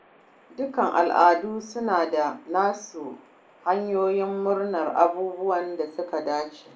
Dukkan al’adu suna da nasu hanyoyin murnar abubuwan da suka dace.